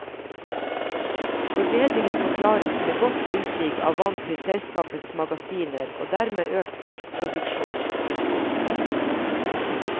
Forbedringen forklares med godt tilsig av vann til selskapets magasiner og dermed økt kraftproduksjon. punktum